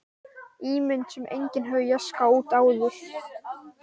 Ímynd sem enginn hafði jaskað út áður.